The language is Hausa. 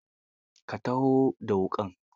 Ka taho da wuƙa.